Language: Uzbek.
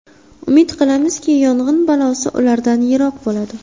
Umid qilamizki, yong‘in balosi ulardan yiroq bo‘ladi.